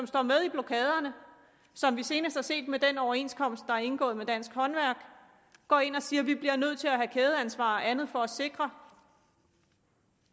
står med i blokaderne og som vi senest har set med den overenskomst der er indgået med dansk håndværk går ind og siger vi bliver nødt til at have kædeansvar og andet for at sikre